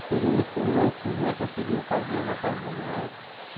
Estúdio muito louco, que os moleque conseguiu fazer na casa do moleque.